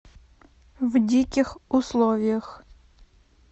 в диких условиях